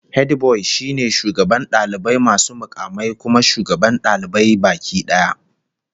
Hediboy shine shugaban dalibai masu mukamai, kuma shugaban dalibai baki daya